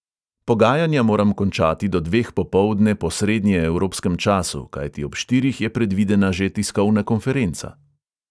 Pogajanja moram končati do dveh popoldne po srednjeevropskem času, kajti ob štirih je predvidena že tiskovna konferenca.